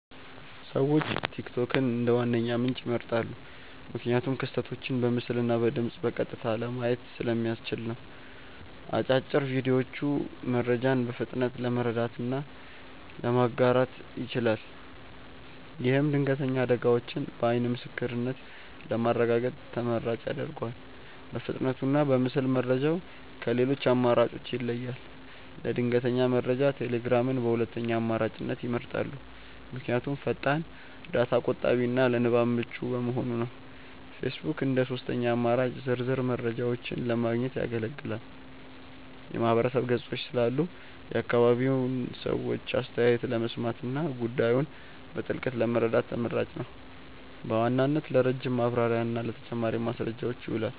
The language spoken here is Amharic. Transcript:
ሰዎች ቲክቶክን እንደ ዋነኛ ምንጭ ይመርጣሉ። ምክንያቱም ክስተቶችን በምስልና በድምፅ በቀጥታ ለማየት ስለሚያስችል ነው። አጫጭር ቪዲዮዎቹ መረጃን በፍጥነት ለመረዳትና ለማጋራት ይችላል። ይህም ድንገተኛ አደጋዎችን በዓይን ምስክርነት ለማረጋገጥ ተመራጭ ያደርገዋል። በፍጥነቱና በምስል መረጃው ከሌሎች አማራጮች ይለያል። ለድንገተኛ መረጃ ቴሌግራምን በሁለተኛ አማራጭነት ይመርጣሉ። ምክንያቱም ፈጣን፣ ዳታ ቆጣቢና ለንባብ ምቹ በመሆኑ ነው። ፌስቡክ እንደ ሦስተኛ አማራጭ ዝርዝር መረጃዎችን ለማግኘት ያገለግላል። የማህበረሰብ ገጾች ስላሉ የአካባቢውን ሰዎች አስተያየት ለመስማትና ጉዳዩን በጥልቀት ለመረዳት ተመራጭ ነው። በዋናነት ለረጅም ማብራሪያና ለተጨማሪ ማስረጃዎች ይውላል።